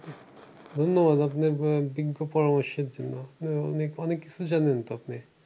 ধন্যবাদ আপনি দীর্ঘ পরামর্শের জন্য। নিয়ে অনেক অনেককিছু জানেন তো আপনি।